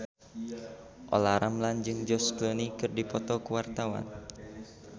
Olla Ramlan jeung George Clooney keur dipoto ku wartawan